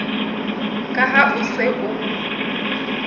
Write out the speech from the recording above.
ka ha o se o